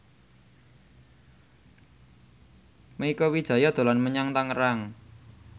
Mieke Wijaya dolan menyang Tangerang